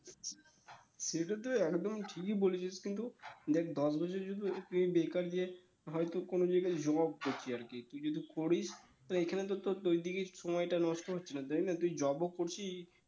সেটা তো একদম ঠিকই বলেছিস কিন্তু দেখ দশ বছর বেকার যে হয়তো কোনো জায়গায় job করছি আরকি তুই যদি করিস তো এইখানে তো তোর সময় টা নষ্ট হচ্ছে না তুই job করছিস